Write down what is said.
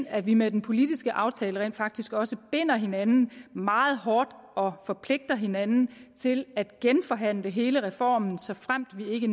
at vi med den politiske aftale rent faktisk også binder hinanden meget hårdt og forpligter hinanden til at genforhandle hele reformen såfremt vi ikke